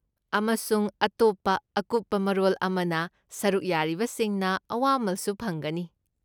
ꯑꯃꯁꯨꯡ ꯑꯇꯣꯞꯄ ꯑꯀꯨꯞꯄ ꯃꯔꯣꯜ ꯑꯃꯅ, ꯁꯔꯨꯛ ꯌꯥꯔꯤꯕꯁꯤꯡꯅ ꯑꯋꯥꯃꯜꯁꯨ ꯐꯪꯒꯅꯤ ꯫